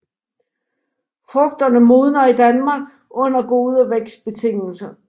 Frugterne modner i Danmark under gode vækstbetingelser